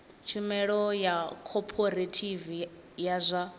tshumelo ya khophorethivi ya zwa